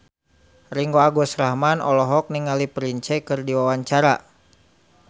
Ringgo Agus Rahman olohok ningali Prince keur diwawancara